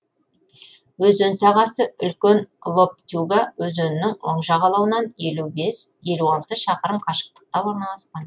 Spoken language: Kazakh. өзен сағасы үлкен лоптюга өзенінің оң жағалауынан елу алты шақырым қашықтықта орналасқан